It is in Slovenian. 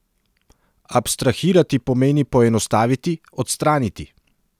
Abstrahirati pomeni poenostaviti, odstraniti.